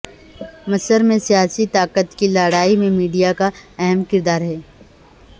مصر میں سیاسی طاقت کی لڑائی میں میڈیا کا اہم کردار ہے